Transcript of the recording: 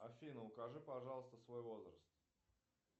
афина укажи пожалуйста свой возраст